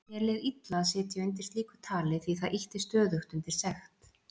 Mér leið illa að sitja undir slíku tali því það ýtti stöðugt undir sekt